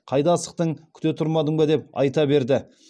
қайда асықтың күте тұрмадың ба деп айта берді